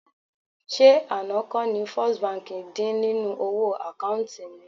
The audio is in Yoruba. Ṣé àná kọ́ ni First Bank dín nínú owó àkáùntì mi?